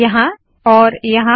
यहाँ और यहाँ